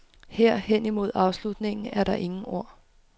Her, hen imod afslutningen, er der ingen ord.